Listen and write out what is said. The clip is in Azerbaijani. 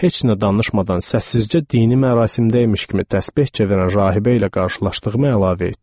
Heç nə danışmadan səssizcə dini mərasimdə imiş kimi təsbehçə verən rahibə ilə qarşılaşdığımı əlavə etdim.